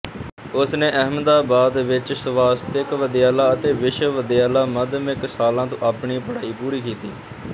ਉਸਨੇ ਅਹਿਮਦਾਬਾਦ ਵਿਚ ਸਵਾਸਤਿਕ ਵਿਦਿਆਲਾ ਅਤੇ ਵਿਸ਼ਵ ਵਿਦਿਆਲਾ ਮੱਧਮਿਕ ਸ਼ਾਲਾ ਤੋਂ ਆਪਣੀ ਪੜ੍ਹਾਈ ਪੂਰੀ ਕੀਤੀ